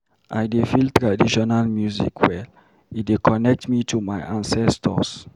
I dey feel traditional music well, e dey connect me to my ancestors.